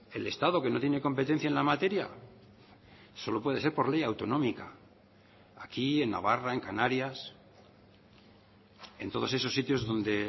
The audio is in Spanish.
el estado que no tiene competencia en la materia solo puede ser por ley autonómica aquí en navarra en canarias en todos esos sitios donde